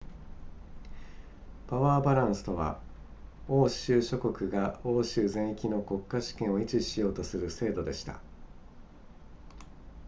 パワーバランスとは欧州諸国が欧州全域の国家主権を維持しようとする制度でした